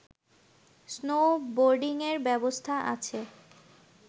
স্নোবোর্ডিঙের ব্যবস্থা আছে